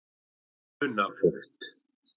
Funafold